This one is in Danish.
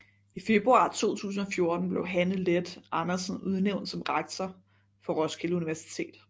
I februar 2014 blev Hanne Leth Andersen udnævnt som rektor for Roskilde Universitet